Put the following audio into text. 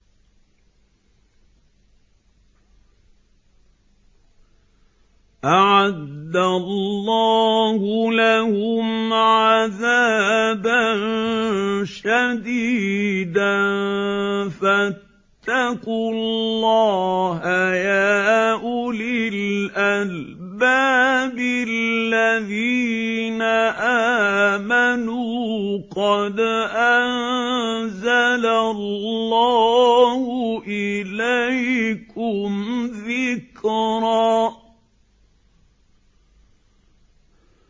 أَعَدَّ اللَّهُ لَهُمْ عَذَابًا شَدِيدًا ۖ فَاتَّقُوا اللَّهَ يَا أُولِي الْأَلْبَابِ الَّذِينَ آمَنُوا ۚ قَدْ أَنزَلَ اللَّهُ إِلَيْكُمْ ذِكْرًا